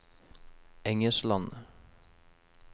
Engesland